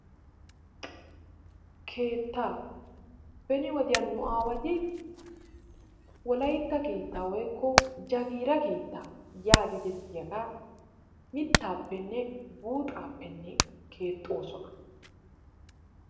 keettaa, beni wodiyan nu aawati wolaytta keetta woykko jagiira keetta yaagetettiyaaga mitaappenne buuxaappe keexoosona.